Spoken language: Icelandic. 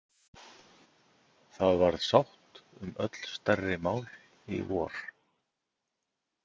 Það varð sátt um öll stærri mál í vor.